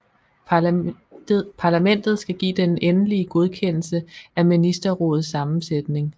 Parlamentet skal give den endelige godkendelse af ministerrådets sammensætning